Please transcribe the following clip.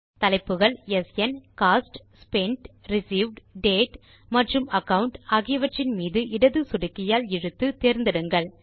தலைப்புகள் ஸ்ன் cost spent received date மற்றும் அகாவுண்ட் ஆகியவற்றின் மீது இடது சொடுக்கியால் இழுத்து தேர்ந்தெடுங்கள்